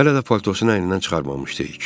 Hələ də paltosunu əynindən çıxarmamışdı.